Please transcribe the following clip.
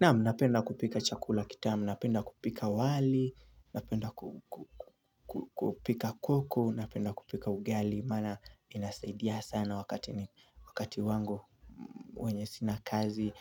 Naam napenda kupika chakula kitaamu, napenda kupika wali, napenda ku ku kupika kuku, napenda kupika ugali maana inasaidia sana wakati n wakati wangu wenye sina kazi